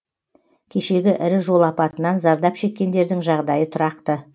кешегі ірі жол апатынан зардап шеккендердің жағдайы тұрақты